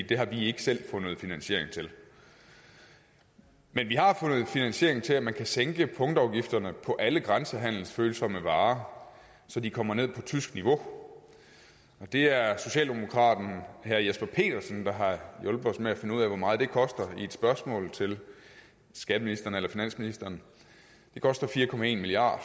det har vi ikke selv fundet finansiering til men vi har fundet finansiering til at man kan sænke punktafgifterne på alle grænsehandelsfølsomme varer så de kommer ned på tysk niveau det er socialdemokraten herre jesper petersen der har hjulpet os med finde ud af hvor meget det koster i et spørgsmål til skatteministeren eller finansministeren det koster fire milliard